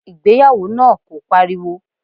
Ìgbéyàwó náà kò pariwo.